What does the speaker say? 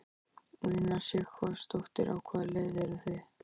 Una Sighvatsdóttir: Á hvaða leið eru þið?